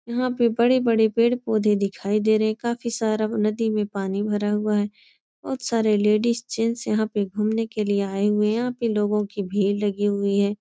यहाँ पे बड़े-बड़े पेड़-पौधे दिखाई दे रहे हैं। काफी सारा नदी में पानी भरा हुआ है। बोहोत सारे लेडिज़ जेन्स यहाँ पे घूमने के लिए आये हुए हैं। यहाँ पे लोगों की भीड़ लगी हुए है।